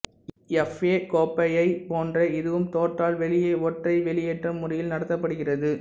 F A கோப்பையைப் போன்றே இதுவும் தோற்றால் வெளியே ஒற்றை வெளியேற்றம் முறையில் நடத்தப்படுகிறது